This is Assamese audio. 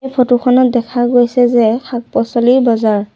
এই ফটো খনত দেখা গৈছে যে শাক-পাছলি বজাৰ।